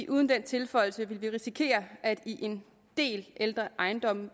uden den tilføjelse ville vi risikere at man i en del ældre ejendomme